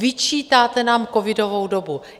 Vyčítáte nám covidovou dobu.